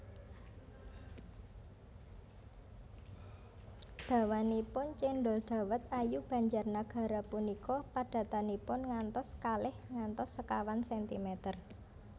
Dawanipun cendhol dawet ayu Banjarnagara punika padatanipun ngantos kalih ngantos sekawan sentimeter